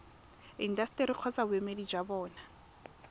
intaseteri kgotsa boemedi jwa bona